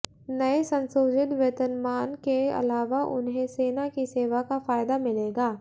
नए संशोधित वेतनमान के अलावा उन्हें सेना की सेवा का फायदा मिलेगा